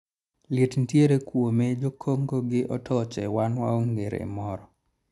liet nitiere kuome jokongo gi otoche wan waonge rem moro